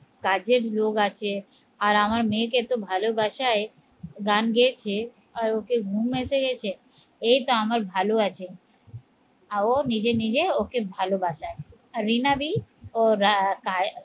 কাজের লোক আছে আর আমার মেয়েকে এত ভাল বাসায় গান হয়েছে আর ওকে ঘুম এসে গেছে এই তো আমার ভালো আছে আর ও নিজে নিজে ওকে ভাল বাসায় আর রিনা দি ওর